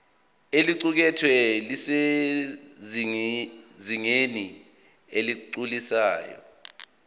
oluqukethwe lusezingeni eligculisayo